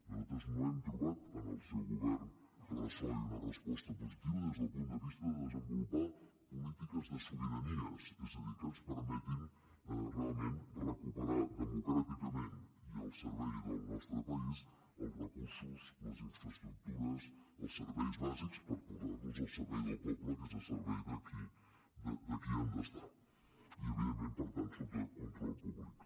nosaltres no hem trobat en el seu govern ressò ni una resposta positiva des del punt de vista de desenvolupar polítiques de sobiranies és a dir que ens permetin realment recuperar democràticament i al servei del nostre país els recursos les infraestructures els serveis bàsics per posar los al servei del poble que és al servei de qui han d’estar i evidentment per tant sota control públic